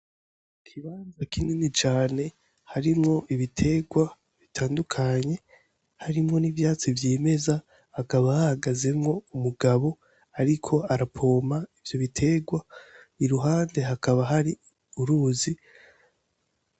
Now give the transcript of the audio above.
Ikibanza kinini cane, harimwo ibiterwa bitandukanye, harimwo n'ivyatsi vyimeza, hakaba hahagazemwo umugabo, ariko arapompa ivyo biterwa, iruhande hakaba hari uruzi.